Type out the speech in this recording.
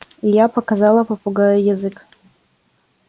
и я показала попугаю язык